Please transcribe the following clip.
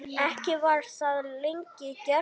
Ekki var það lengi gert.